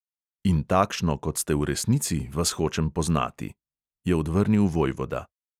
"In takšno, kot ste v resnici, vas hočem poznati," je odvrnil vojvoda.